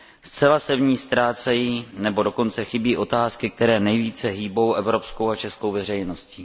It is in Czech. Zcela se v ní ztrácejí nebo dokonce chybí otázky, které nejvíce hýbou evropskou a českou veřejností.